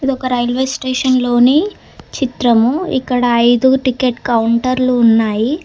ఒక రైల్వే స్టేషన్లోని చిత్రము ఇక్కడ ఐదు టికెట్ కౌంటర్లు ఉన్నాయి.